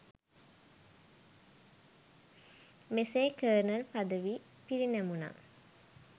මෙසේ කර්නල් පදවි පිරිනැමුණා